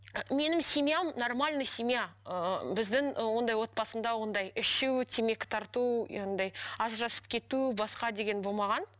менің семьям нормальный семья ыыы біздің ондай отбасында ондай ішу темекі тарту андай ажырасып кету басқа деген болмаған